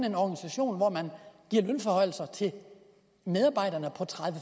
en organisation hvor man giver lønforhøjelse til medarbejderne på tredive